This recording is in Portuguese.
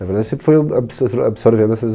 Na verdade, eu sempre fui ob absor zor absorvendo essas...